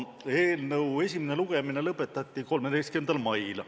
Eelnõu esimene lugemine lõpetati 13. mail.